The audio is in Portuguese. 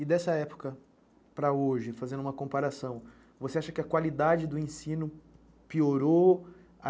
E dessa época para hoje, fazendo uma comparação, você acha que a qualidade do ensino piorou?